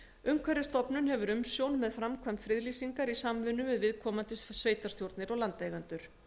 umhverfisstofnun hefur umsjón með framkvæmd friðlýsingar í samvinnu við viðkomandi sveitarstjórnir og landeigendur